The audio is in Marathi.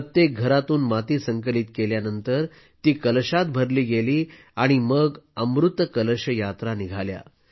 प्रत्येक घरातून माती संकलित केल्यानंतर ती कलशात भरली गेली आणि मग अमृत कलश यात्रा निघाल्या